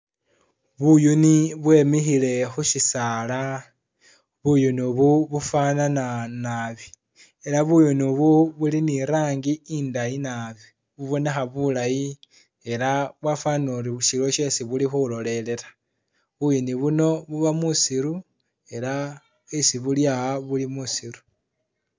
Buyuuni bwe'mikhile khusisaala, buyuunu u'bu bufanana naabi, ela buyuunu u'bu buli ne irangi i'ndayi naabi, bubonekha bulayi , ela bwafwanile ori iliyo shesi buli khulolelela, buyuuni buno buba musiiru ela isi buli a'a buli musiiru.